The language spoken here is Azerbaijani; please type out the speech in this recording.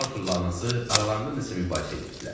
Arturla anası aralarında nəsə mübahisə eləyirdilər.